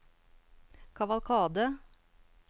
kavalkade